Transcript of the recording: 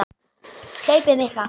Hlaupið mikla